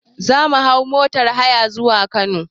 Zamu hau motar haya zuwa Kano